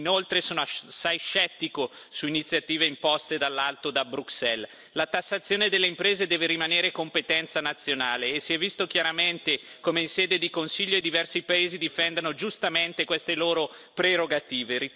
Inoltre, sono assai scettico su iniziative imposte dall'alto da Bruxelles la tassazione delle imprese deve rimanere competenza nazionale e si è visto chiaramente come, in sede di Consiglio, i diversi paesi difendano, giustamente, queste loro prerogative.